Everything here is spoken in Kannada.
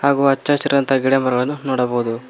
ಹಾಗೂ ಹಚ್ಚಹಸಿರಾದಂತ ಗಿಡ ಮರಗಳನ್ನು ನೋಡಬಹುದು.